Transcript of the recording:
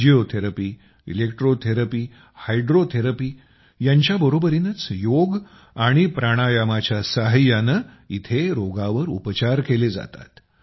physiotherapy electrotherapy आणि hydrotherapy यांच्याबरोबरीनंच योग प्राणायामाच्या सहाय्यानं इथं रोगावर उपचार केले जातात